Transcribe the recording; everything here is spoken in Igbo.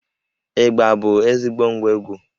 Ịgbà bụ ezigbo ngwá egwú